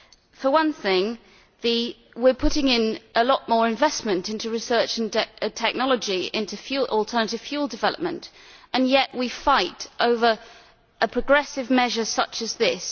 For one thing, we are putting a lot more investment into research and technology for alternative fuel development, and yet we fight over progressive measures such as this.